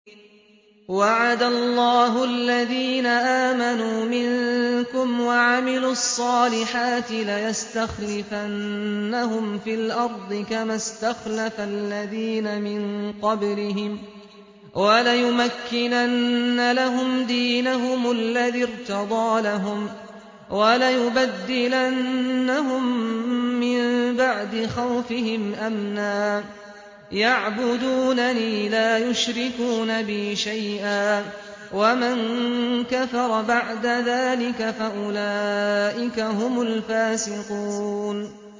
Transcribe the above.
وَعَدَ اللَّهُ الَّذِينَ آمَنُوا مِنكُمْ وَعَمِلُوا الصَّالِحَاتِ لَيَسْتَخْلِفَنَّهُمْ فِي الْأَرْضِ كَمَا اسْتَخْلَفَ الَّذِينَ مِن قَبْلِهِمْ وَلَيُمَكِّنَنَّ لَهُمْ دِينَهُمُ الَّذِي ارْتَضَىٰ لَهُمْ وَلَيُبَدِّلَنَّهُم مِّن بَعْدِ خَوْفِهِمْ أَمْنًا ۚ يَعْبُدُونَنِي لَا يُشْرِكُونَ بِي شَيْئًا ۚ وَمَن كَفَرَ بَعْدَ ذَٰلِكَ فَأُولَٰئِكَ هُمُ الْفَاسِقُونَ